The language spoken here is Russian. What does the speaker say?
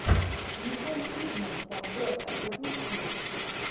николь кидман подборка запусти